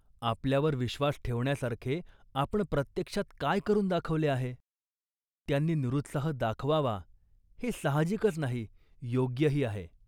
आपल्यावर विश्वास ठेवण्यासारखे आपण प्रत्यक्षात काय करून दाखवले आहे. त्यांनी निरुत्साह दाखवावा हे साहजिकच नाही, योग्यही आहे